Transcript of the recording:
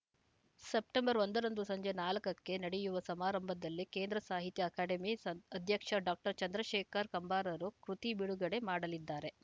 September ಒಂದರಂದು ಸಂಜೆ ನಾಲ್ಕಕ್ಕೆ ನಡೆಯುವ ಸಮಾರಂಭದಲ್ಲಿ ಕೇಂದ್ರ ಸಾಹಿತ್ಯ ಅಕಾಡೆಮಿ ಸ ಅಧ್ಯಕ್ಷ ಡಾಕ್ಟರ್ ಚಂದ್ರಶೇಖರ ಕಂಬಾರರು ಕೃತಿ ಬಿಡುಗಡೆ ಮಾಡಲಿದ್ದಾರೆ